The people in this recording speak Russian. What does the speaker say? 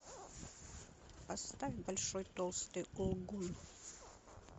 поставь большой толстый лгун